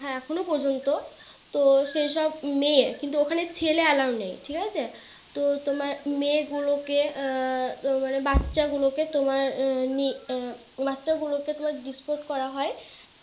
হ্যাঁ এখনো পর্যন্ত সেই সব মেয়ে কিন্তু ওখানে ছেলে Allow নেই ঠিক আছে তো তোমার মেয়ে গুলোকে আহ মানে বাচ্চা গুলোকে তোমার নি আহ বাচ্চা গুলোকে তোমার Disport করা হয়